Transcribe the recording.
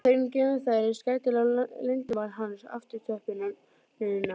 Þögnin geymir þær eins gætilega og leyndarmál hans um aftöppunina.